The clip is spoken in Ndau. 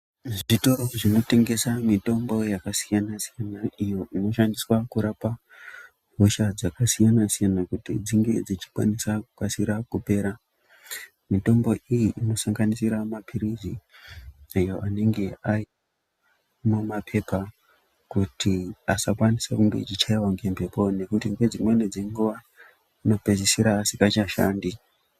Zvitoro zvinotengesa mitombo yakasiyana-siyana iyo inoshandiswa kurapwa hosha dzakasiyana siyana kuti dzinge dzichikwanisa kukasira, kupera mitombo iyi inosanganisira mapiritsi oyo anenge ari mumapepa kuti asakwanisa kunge eyichaiwa ngemhepo nekuti ndedzimwe dzenguva anopedzisira asingacha shandi .